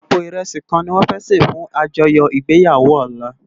Àpó irèsí kán niwòn fè sé fún ájòyò igbéyàwó òlá